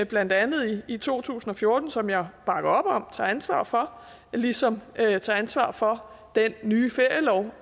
blandt andet i to tusind og fjorten som jeg bakker op om og tager ansvar for ligesom jeg tager ansvar for den nye ferielov